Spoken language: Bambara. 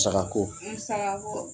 Musakako; Musakako